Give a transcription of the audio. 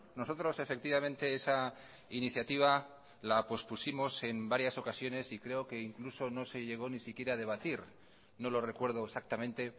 nosotros efectivamente esa iniciativa la pospusimos en varias ocasiones y creo que incluso no se llegó ni siquiera a debatir no lo recuerdo exactamente